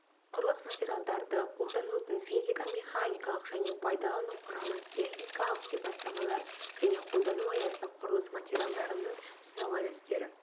құрылыс материалдарды қолданудың физико-механикалық және пайдалану құрамы техникалық сипаттамалар және қолдану аясы құрылыс материалдарының сынау әдістері